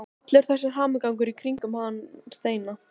Allur þessi hamagangur í kringum hann Steina!